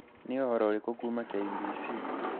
Nĩ ũhoro ũrĩkũ kuuma kũrĩ K.B.C